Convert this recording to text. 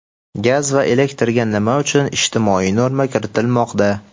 Gaz va elektrga nima uchun ijtimoiy norma kiritilmoqda?.